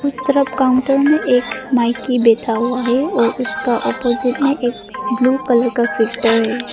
उस तरफ काउंटर में एक माइकी बैठा हुआ है और उसका अपोजिट में एक ब्लू कलर का चित्र है।